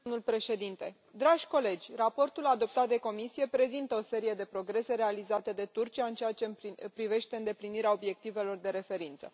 Domnule președinte, dragi colegi, raportul adoptat de Comisie prezintă o serie de progrese realizate de Turcia în ceea ce privește îndeplinirea obiectivelor de referință.